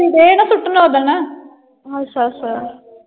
ਅੱਛਾ ਅੱਛਾ।